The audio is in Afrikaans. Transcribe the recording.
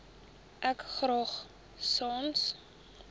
ek graag sans